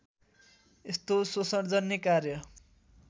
यस्तो शोषणजन्य कार्य